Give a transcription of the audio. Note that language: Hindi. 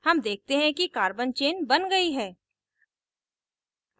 हम देखते हैं कि carbon chain बन गयी है